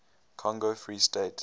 congo free state